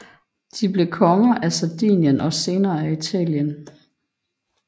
De blev konger af Sardinien og senere af Italien